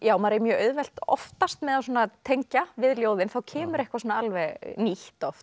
maður eigi mjög auðvelt oftast með að tengja við ljóðin þá kemur eitthvað alveg nýtt oft